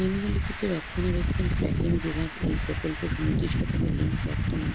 নিম্নলিখিত রক্ষণাবেক্ষণ ট্র্যাকিং বিভাগ এই প্রকল্প সুনির্দিষ্টভাবে লিঙ্ক বর্তমান